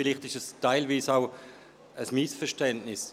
Vielleicht ist es teilweise auch ein Missverständnis.